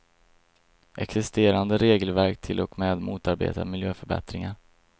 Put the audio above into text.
Existerande regelverk till och med motarbetar miljöförbättringar.